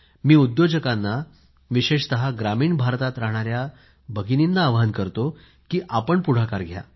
मी उद्योजकांना विशेषतः ग्रामीण भारतात राहणाऱ्या भगिनींना आवाहन करतो की आपण पुढाकार घ्या